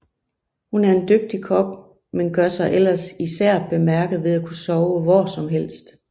Hun er en dygtig kok men gør sig ellers især bemærket ved at kunne sove hvor som helst